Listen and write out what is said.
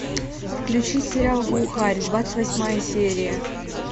включи сериал глухарь двадцать восьмая серия